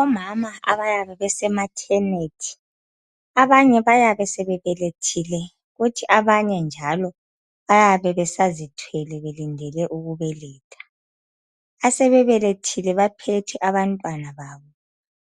Omama abayabe bese maternity, abanye bayabe sebebelethile kuthi abanye njalo, bayabe besazithwele belindele ukubeletha. Asebebelethile baphethe abantwana babo.